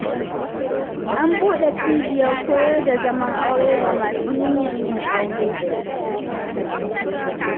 An buɗe cibiyar koyar da zaman aure ga masu niyyar yin auren.